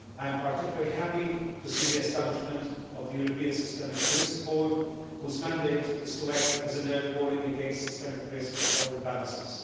I am particularly happy to see the establishment of the European Systemic Risk Board, whose mandate is to act as an early warning against systemic risks or imbalances.